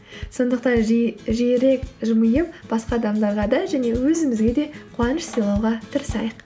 сондақтан жиірек жымиып басқа адамдарға да және өзімізге де қуаныш сыйлауға тырысайық